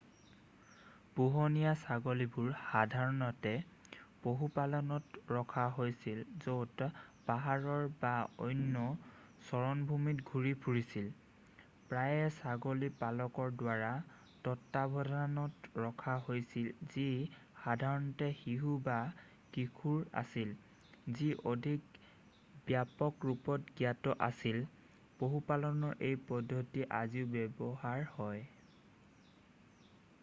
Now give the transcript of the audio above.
পোহনীয়া ছাগলীবোৰ সাধাৰণতে পশুপালত ৰখা হৈছিল য'ত পাহাৰৰ বা অন্য চাৰণভূমিত ঘূৰি ফুৰিছিল প্ৰায়েই ছাগলী পালকৰ দ্বাৰা তত্ত্বাৱধানত ৰখা হৈছিল যি সাধাৰণতে শিশু বা কিশোৰ আছিল যি অধিক ব্যাপক ৰূপত জ্ঞাত আছিল পশুপালনৰ এই পদ্ধতি আজিও ব্যৱহাৰ হয়